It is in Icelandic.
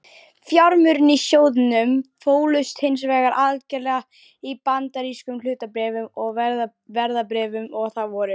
Fjármunirnir í sjóðnum fólust hins vegar algerlega í bandarískum hlutabréfum og verðbréfum og það voru